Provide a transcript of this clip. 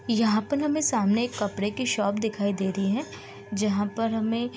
यहाँ पर ना हमें सामने एक कपडे की शॉप दिखाई दे रही है जहाँ पर हमें --